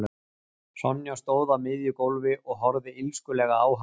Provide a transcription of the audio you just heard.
Sonja stóð á miðju gólfi og horfði illskulega á hann.